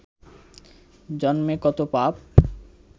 জন্মে কত পাপ